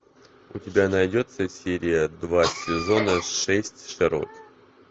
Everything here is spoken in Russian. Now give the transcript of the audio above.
у тебя найдется серия два сезона шесть шерлок